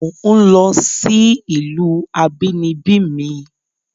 Mò ń lọ sí ìlú abínibí mi